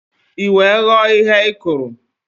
I wee ghọọ ihe ị kụrụ